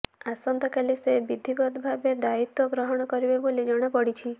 ଆସନ୍ତାକାଲି ସେ ବିଧିବଦ୍ଧ ଭାବେ ଦାଇତ୍ବ ଗ୍ରହଣ କରିବେ ବୋଲି ଜଣାପଡ଼ିଛି